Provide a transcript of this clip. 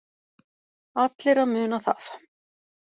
Allir að muna það.